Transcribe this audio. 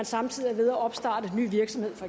samtidig er ved at opstarte ny virksomhed